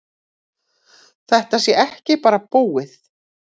Þetta sé ekki bara búið.